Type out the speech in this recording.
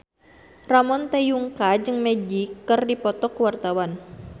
Ramon T. Yungka jeung Magic keur dipoto ku wartawan